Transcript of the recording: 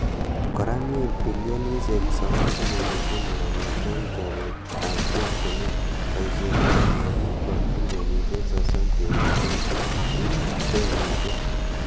kora mii bilionishek 9.3 kongete chopet ap orotunwek, poshet ap mwanik ko bilionishek 30.2 ing denishek.